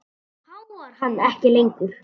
Nú háfar hann ekki lengur.